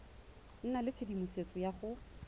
nna le tshedimosetso ya go